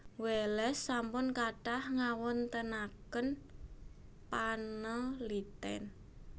Wallace sampun kathah ngawontenaken panaliten